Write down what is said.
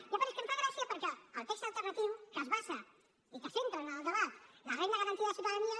i a part és que em fa gràcia perquè el text alternatiu que es basa i que centra en el debat la renda garantida de ciutadania